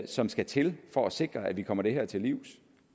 som skal til for at sikre at vi kommer det her til livs